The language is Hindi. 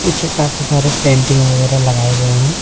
चीखा के सहारे पेंटिंग वगैरह लगाए गए हैं।